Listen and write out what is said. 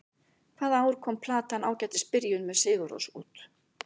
Hvaða ár kom platan Ágætis byrjun, með Sigurrós út?